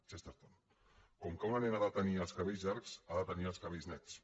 chesterton com que una nena ha de tenir els cabells llargs ha de tenir els cabells nets